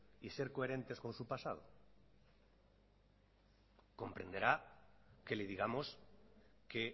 y ser coherentes con su pasado comprenderá que le digamos que